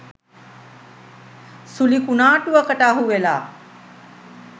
සුළි කුනා‍ටුවකට අහුවෙලා